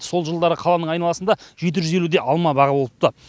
сол жылдары қаланың айналасында жеті жүз елудей алма бағы болыпты